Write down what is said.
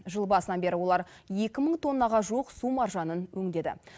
жыл басынан бері олар екі мың тоннаға жуық су маржанын өңдеді